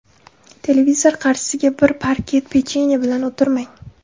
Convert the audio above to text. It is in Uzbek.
Televizor qarshisiga bir paket pechenye bilan o‘tirmang.